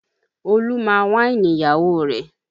Olú máa wáìnì ìyàwó rẹ̀